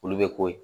Olu bɛ k'o ye